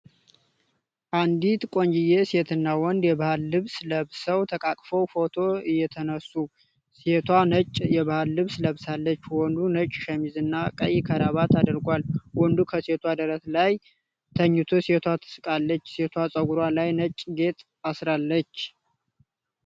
አንዲት ቆንጅዬ ሴትና ወንድ የባህል ልብስ ለብሰው ተቃቅፈው ፎቶ እየተነሱ፤ ሴቷ ነጭ የባህል ልብስ ለብሳለች፣ ወንዱ ነጭ ሸሚዝና ቀይ ከረባት አድርጓል፣ ወንዱ ከሴቷ ደረት ላይ ተኝቶ ሴቷ ትስቃለች፣ ሴቷ ፀጉሯ ላይ ነጭ ጌጥ አስራለች።